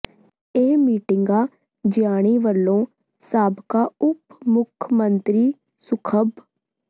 ਇਹ ਮੀਟਿੰਗਾਂ ਜਿਆਣੀ ਵੱਲੋਂ ਸਾਬਕਾ ਉਪ ਮੁੱਖ ਮੰਤਰੀ ਸੁਖਬ